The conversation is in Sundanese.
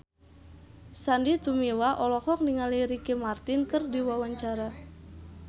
Sandy Tumiwa olohok ningali Ricky Martin keur diwawancara